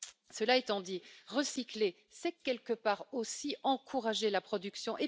Cela étant dit, recycler, c'est, quelque part aussi, encourager la production.